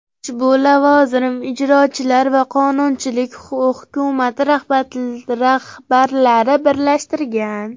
Ushbu lavozim ijrochilar va qonunchilik hukumati rahbarlarini birlashtirgan.